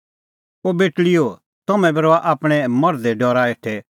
ओ बेटल़ीओ तम्हैं बी रहा आपणैं मर्धे डरा हेठै